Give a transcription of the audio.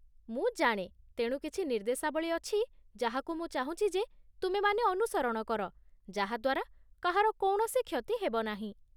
ମୁଁ ଜାଣେ, ତେଣୁ କିଛି ନିର୍ଦ୍ଦେଶାବଳୀ ଅଛି ଯାହାକୁ ମୁଁ ଚାହୁଁଛି ଯେ ତୁମେମାନେ ଅନୁସରଣ କର, ଯାହା ଦ୍ୱାରା କାହାର କୌଣସି କ୍ଷତି ହେବ ନାହିଁ!